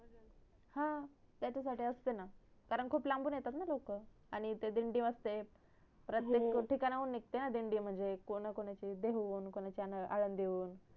हा त्याच्या साठी असते ना कारण खूप लांबून येतात ना लोक आणि तिथ दिंडी असते प्रतेक ठिकाणावरून निघते ना दिंडी म्हणजे कोणा कोणाची देहु वरुण कोणाची आळंदी वरुण